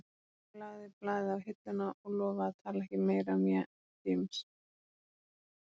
Hún lagði blaðið á hilluna og lofaði að tala ekki meira um James